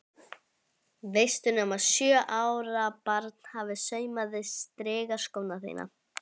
Veistu nema sjö ára barn hafi saumað strigaskóna þína?